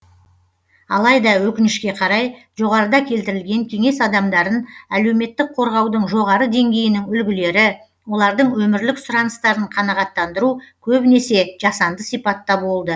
алайда өкінішке қарай жоғарыда келтірілген кеңес адамдарын әлеуметтік қорғаудың жоғары деңгейінің үлгілері олардың өмірлік сұраныстарын қанағаттандыру көбінесе жасанды сипатта болды